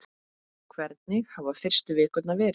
Hvernig hafa fyrstu vikurnar verið?